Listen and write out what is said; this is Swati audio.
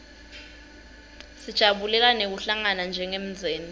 sijabulela nekuhlangana njengemndzeni